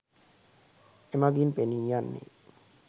එමගින් පෙනී යන්නේ